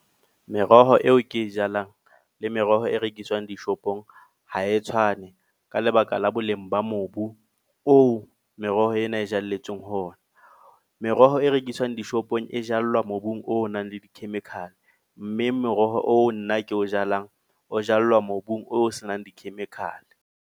Meroho eo ke e jalang, le meroho e rekiswang dishopong ha e tshwane. Ka lebaka la boleng ba mobu oo meroho ena e jalletsweng ho ona. Meroho e rekiswang dishopong e jallwa mobung o nang le di-chemical. Mme meroho o nna ke o jalang, o jallwa mobung o senang di-chemical.